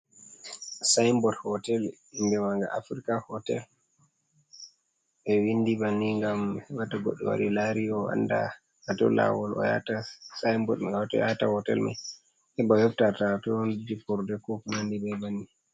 Sinbot hotel inde manga africa hotel be windi banni gam wata hobbe wari lari o anda hato lawol o yahata sinbot hatoi yata hotel mai heba hefta to jiporde ko nandi ba banni.